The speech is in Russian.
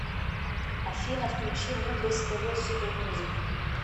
афина включи мудрость тэ вэ супер музик